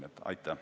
Aitäh!